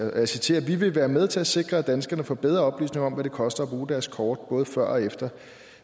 og jeg citerer vi vil være med til at sikre at danskerne får bedre oplysning om hvad det koster at bruge deres kort både før og efter